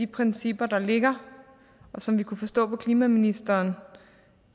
principper der ligger og som vi kunne forstå på klimaministeren